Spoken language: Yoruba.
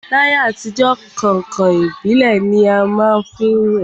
L'ayé àtijọ́, kàǹkàn ìbílẹ̀ ni a má ń wẹ̀